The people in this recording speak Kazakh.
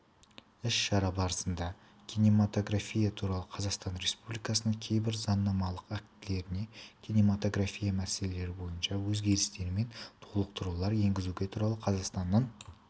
іс-шара барысында кинематография туралы қазақстан республикасының кейбір заңнамалық актілеріне кинематография мәселелері бойынша өзгерістер мен толықтырулар енгізу туралы қазақстан республикасының